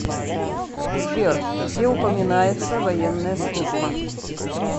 сбер где упоминается военная служба